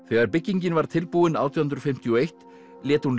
þegar byggingin var tilbúin átján hundruð fimmtíu og eitt lét hún